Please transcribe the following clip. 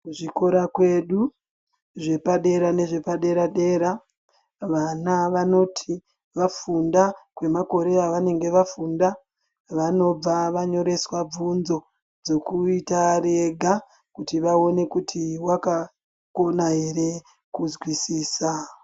Kuzvikora kwedu zvepadera nezve paderadera vana vanoti vafunda kwemakore avanonge vafunda vanobva vanyoreswa bvunzo dzokuita ari ega kuti vaone kuti wakakona ere kuzwisisa.